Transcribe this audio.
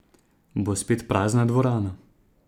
Bo spet prazna dvorana?